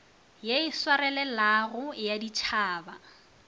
ye e swarelelago ya ditšhaba